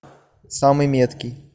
самый меткий